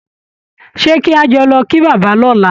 Ṣé kí a jọ lọ kí bàbá lọ́la?